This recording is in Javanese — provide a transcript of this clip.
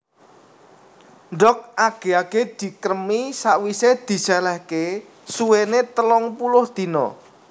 Ndhog age age dikremi sawise diselehke suwene telung puluh dina